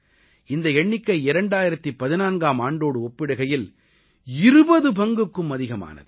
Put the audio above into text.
இந்த எண்ணிக்கை 2014ஆம் ஆண்டோடு ஒப்பிடுகையில் 20 பங்குக்கும் அதிகமானது